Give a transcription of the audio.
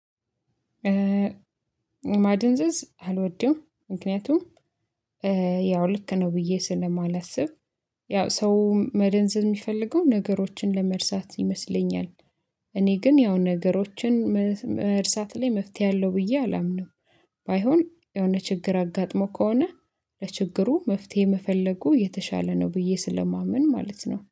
ማደንዘዝ አልወድም ምክንያቱም ያው ልክ ነው ብዬ ስለማላስብ ያው ሰው መደንዘዝ የሚፈልገውን ነገሮችን ለመርሳት ይመስለኛል። እኔ ግን ያው ነገሮችን መርሳት ላይ መፍትሄ አለው ብዬ አላምንም። ባይሆን የሆነ ችግር አጋጥሞ ከሆነ ለችግሩ መፍትሄ መፈለጉ የተሻለ ነው ብዬ ስለማመን ማለት ነው